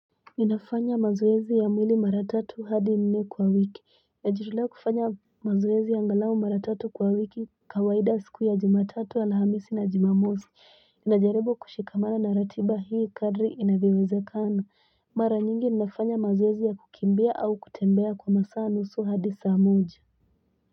Ninafanya mazoezi ya mwili mara tatu hadi nne kwa wiki najitolea kufanya mazoezi angalau mara tatu kwa wiki kawaida siku ya jumatatu, alhamisi na jumamosi najaribu kushikamana na ratiba hii kadri inavyowezekana mara nyingi ninafanya mazoezi ya kukimbia au kutembea kwa masaa nusu hadi saa moja.